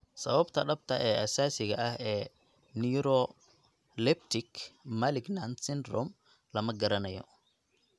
Sababta dhabta ah ee asaasiga ah ee neuroleptic malignant syndrome lama garanayo.